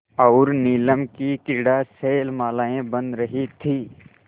और नीलम की क्रीड़ा शैलमालाएँ बन रही थीं